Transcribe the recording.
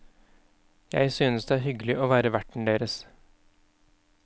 Jeg synes det er hyggelig å være verten deres.